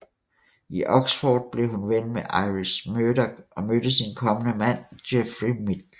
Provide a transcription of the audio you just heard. I Oxford blev hun ven med Iris Murdoch og mødte sin kommende mand Geoffrey Midgley